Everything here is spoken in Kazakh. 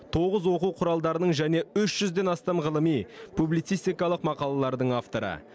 тоғыз оқу құралдарының және үш жүзден астам ғылыми публицистикалық мақалалардың авторы